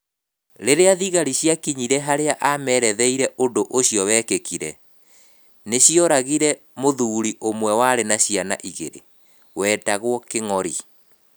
Rĩrĩa thigari ciakinyire harĩa ameretheire ũndũ ũcio wekĩkire, nĩ cioragire mũthuri ũmwe warĩ na ciana igĩrĩ, wetagwo Kĩngori.